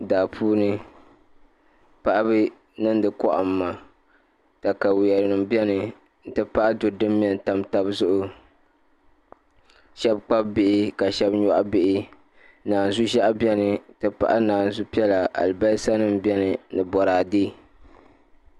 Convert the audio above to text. Daa puuni paɣaba n niŋdi bi kohamma katawiya nim biɛni n ti pahi duri din mɛ n tam tabi zuɣu shab kpabi bihi ka shab nyoɣi bihi naanzu ʒiɛhi biɛni n ti pahi naanzu piɛla alibarisa nim biɛni ni Boraadɛ